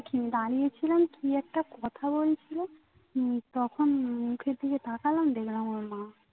দাঁড়িয়েছিলাম কি একটা কথা বলছিলো উম তখন মুখের দিকে তাকালাম দেখলাম ওর মা